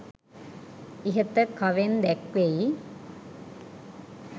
ඉහත කවෙන් දැක්වෙයි.